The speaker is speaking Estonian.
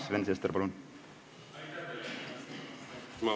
Sven Sester, palun!